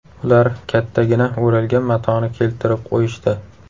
Ular kattagina o‘ralgan matoni keltirib qo‘yishdi.